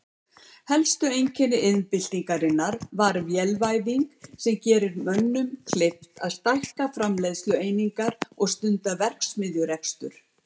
Helsta einkenni iðnbyltingarinnar var vélvæðing sem gerði mönnum kleift að stækka framleiðslueiningar og stunda verksmiðjurekstur.